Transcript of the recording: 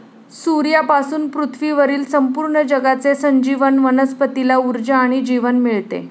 सूर्यापासून पृथ्वीवरील संपूर्ण जगाचे संजीवन वनस्पतीला ऊर्जा आणि जीवन मिळते.